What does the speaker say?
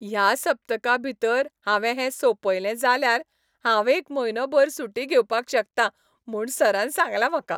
ह्या सप्तकाभितर हांवें हें सोंपयलें जाल्यार हांव एक म्हयनोभर सुटी घेवपाक शकतां म्हूण सरान सांगलां म्हाका!